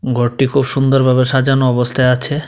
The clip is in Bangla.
ঘরটি খুব সুন্দরভাবে সাজানো অবস্থায় আছে।